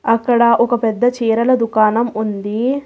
అక్కడ ఒక పెద్ద చేరల దుకాణం ఉంది.